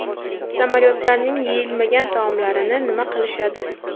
Samolyotlarning yeyilmagan taomlarini nima qilishadi?